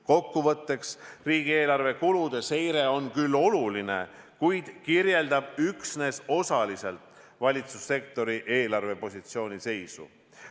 Kokkuvõtteks: riigieelarve kulude seire on küll oluline, kuid kirjeldab üksnes osaliselt valitsussektori eelarvepositsiooni seisu.